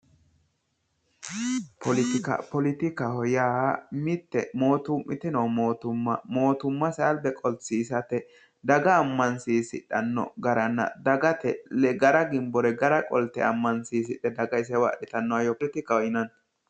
Politika, politikaho yaa mite mootto'mite noo mootumma, mootummase alba qolsiisate daga amansiisidheno garanna ,dagate gara ginbore gara qolte amansiisidhe daga isewa adhittano hayyo politikaho yinnanni.